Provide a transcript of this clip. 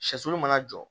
Sɛsulu mana jɔ